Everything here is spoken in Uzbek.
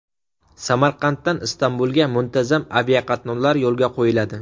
Samarqanddan Istanbulga muntazam aviaqatnovlar yo‘lga qo‘yiladi.